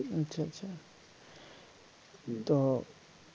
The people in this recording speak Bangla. আচ্ছা আচ্ছা তো